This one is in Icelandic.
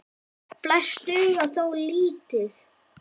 Flest duga þó lítið.